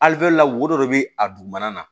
la wodɔ de bɛ a dugumana na